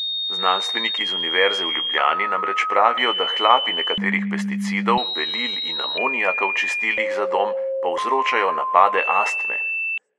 Znanstveniki z univerze v ljubljani namreč pravijo, da hlapi nekaterih pesticidov, belil in amoniaka v čistilih za dom povzročajo napade astme.